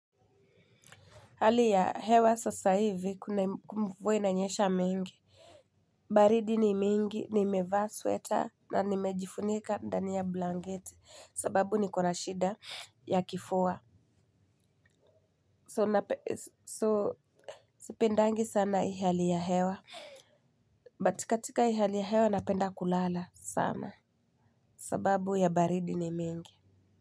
Hali ya hewa sasa hivi mvua inanyesha mingi. Baridi ni mingi nimevaa sweta na nimejifunika ndani ya blanketi sababu nikona shida ya kifua So sipendangi sana hii hali ya hewa but katika hii hali ya hewa napenda kulala sana. Sababu ya baridi ni mingi.